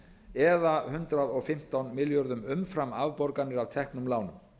eða hundrað og fimmtán milljörðum umfram afborganir af teknum lánum